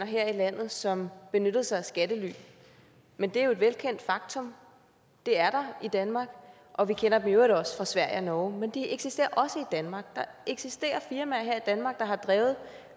her i landet som benyttede sig af skattely men det er jo et velkendt faktum det er der i danmark og vi kender dem i øvrigt også fra sverige og norge men de eksisterer også i danmark der eksisterer firmaer her i danmark der har drevet